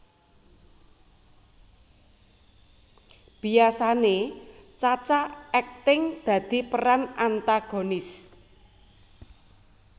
Biyasane Cha Cha akting dadi peran antagonis